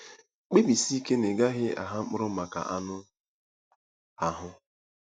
Kpebisie ike na ị gaghị ‘agha mkpụrụ maka anụ ahụ́.’